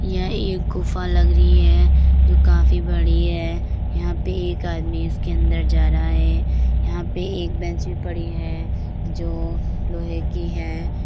यह एक गुफा लग रही है जो काफी बड़ी है यहाँ पे एक आदमी इसके अंदर जा रहा है यहाँ पे एक बेंच भी पड़ी है जो लोहे की है।